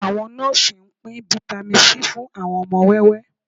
Àwọn nọ́ọ́sì ń pín Vitamin C fún àwọn ọmọ wẹ́wẹ́